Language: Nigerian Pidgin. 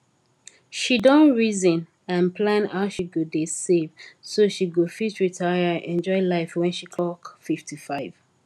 she don reason and plan how she go dey save so she go fit retire enjoy life wen she clock 55